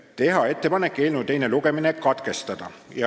Teha ettepanek eelnõu teine lugemine katkestada.